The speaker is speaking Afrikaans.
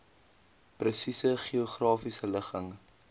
presiese geografiese ligging